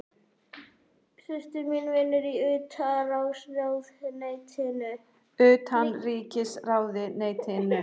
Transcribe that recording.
Systir mín vinnur í Utanríkisráðuneytinu.